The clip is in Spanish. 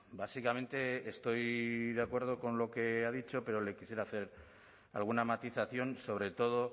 básicamente estoy de acuerdo con lo que ha dicho pero le quisiera hacer alguna matización sobre todo